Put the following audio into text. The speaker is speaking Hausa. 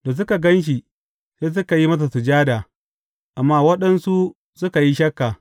Da suka gan shi, sai suka yi masa sujada, amma waɗansu suka yi shakka.